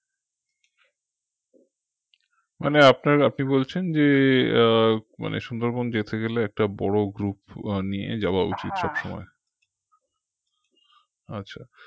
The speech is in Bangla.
মানে আপনার আপনি বলছেন যে আহ মানে সুন্দরবন যেতে গেলে একটা বড় group নিয়ে যাওয়া উচিত সবসময় আচ্ছা